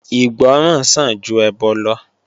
Ìgbọràn sàn ju ẹbọ lọ